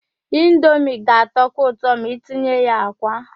Indomie ga-atọkwu ụtọ ma itinye ya àkwá.